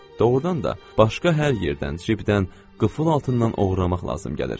Doğrudan da başqa hər yerdən cibdən, qıfıl altından oğurlamaq lazım gəlir.